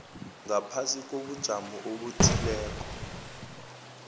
ngaphasi kobujamo obuthileko